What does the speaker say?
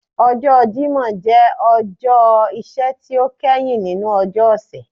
Ọjọ́ Jímọ̀ jẹ ọjọ́ iṣẹ́ ti o kẹhin ninu ọjọ́ ọ̀sẹ̀